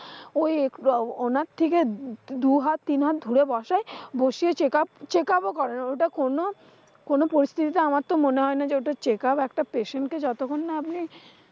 ঐ আহ উনার থেকে দুহাত-তিনহাত দূরে বসাই। বসিয়ে checkup checkup ও করেনা ওটা কোন কোন পরিস্থিতিতে আমার তো মনে হয় না যে ওটা checkup একটা patient কে যতখন না আপনি,